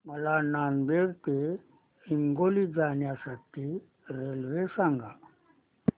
मला नांदेड ते हिंगोली जाण्या साठी रेल्वे सांगा